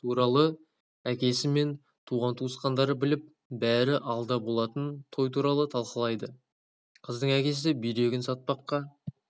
туралы әкесі мен туған-туысқандары біліп бәрі алда болатын той туралы талқылайды қыздың әкесі бүйрегін сатпаққа